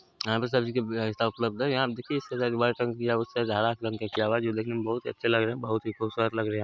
यहाँ पर सभी जो देखने में बहुत अच्छे लग रहे हैं बहुत खूबसूरत लग रहे हैं।